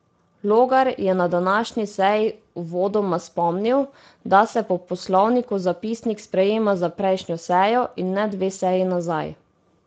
Logar je na današnji seji uvodoma spomnil, da se po poslovniku zapisnik sprejema za prejšnjo sejo in ne dve seji nazaj.